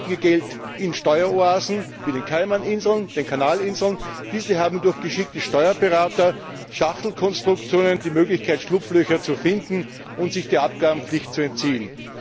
Diese parken ihr Geld in Steueroasen wie den Kaimaninseln, den Kanalinseln, diese haben durch geschickte Steuerberater, Schachtelkonstruktionen, die Möglichkeit, Schlupflöcher zu finden und sich der Abgabenpflicht zu entziehen.